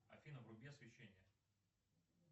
афина вруби освещение